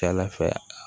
Kɛnɛ fɛ a